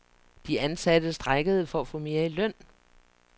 De ansatte strejkede for at få mere i løn.